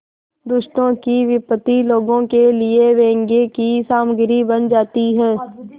दुष्टों की विपत्ति लोगों के लिए व्यंग्य की सामग्री बन जाती है